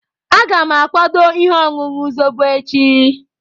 Aga m akwado ihe ọṅụṅụ Zobo echi.